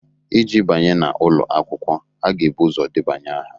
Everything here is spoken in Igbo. Iji banye n'ụlọ akwụkwọ, a ga-ebu ụzọ debanye aha